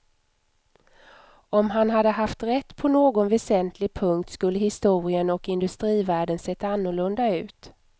Om han hade haft rätt på någon väsentlig punkt skulle historien och industrivärlden sett annorlunda ut.